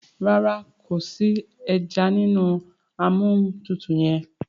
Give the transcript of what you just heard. ràrá kò sí ejanínú Amóhuntutù yén.